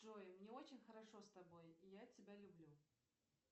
джой мне очень хорошо с тобой и я тебя люблю